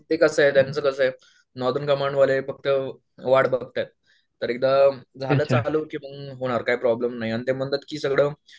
ते कसं आहे त्याचं कसं आहे कमांडवाले फक्त वाट बघतायेत तर एकदा झालं चालू की बंद नाही होणार काय प्रॉब्लम नाही ते म्हणतात की सगळं